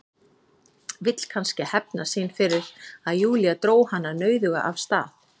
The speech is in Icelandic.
Vill kannski hefna sín fyrir að Júlía dró hana nauðuga af stað.